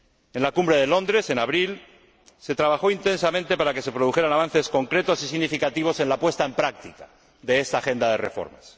En la Cumbre de Londres, en abril, se trabajó intensamente para que se produjeran avances concretos y significativos en la puesta en práctica de esta agenda de reformas.